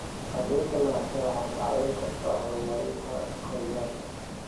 Cadaynta lahaanshaha waxay kaa caawin kartaa horumarinta kaabayaasha.